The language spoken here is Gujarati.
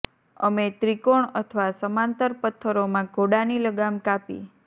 અમે ત્રિકોણ અથવા સમાંતર પત્થરો માં ઘોડાની લગામ કાપી